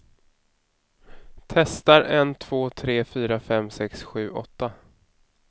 Testar en två tre fyra fem sex sju åtta.